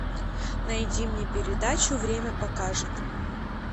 найди мне передачу время покажет